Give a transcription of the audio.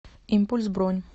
импульс бронь